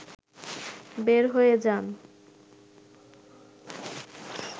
বের হয়ে যান